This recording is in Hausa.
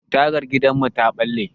Tagar gidanmu ta ɓalle.